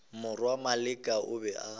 morwa maleka o be a